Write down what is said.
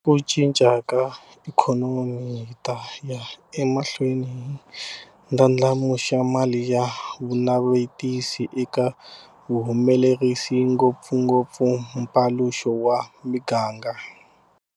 Ka ku cinca ka ikhonomi hi ta ya emahlweni hi ndlandlamuxa mali ya vunavetisi eka vahumelerisi, ngopfungopfu mpaluxo wa miganga.